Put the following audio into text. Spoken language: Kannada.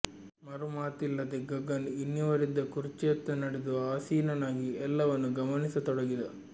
ಮರು ಮಾತಿಲ್ಲದೆ ಗಗನ್ ಇನ್ನೀರ್ವರಿದ್ದ ಕುರ್ಚಿಯತ್ತ ನಡೆದು ಆಸೀನನಾಗಿ ಎಲ್ಲವನ್ನೂ ಗಮನಿಸತೊಡಗಿದ